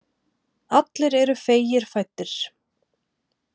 Allir eru feigir fæddir.